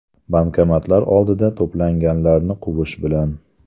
Bankomatlar oldida to‘planganlarni quvish bilan.